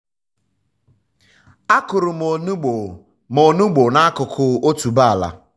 a kụrụ um m onugbu um m onugbu n'akụkụ otuboala.